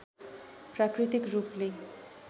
प्राकृतिक रूपले